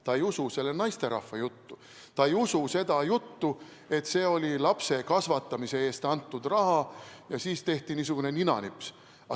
Ta ei usu selle naisterahva juttu, ta ei usu seda juttu, et see oli lapse kasvatamise eest antud raha ja siis tehti niisugune ninanips.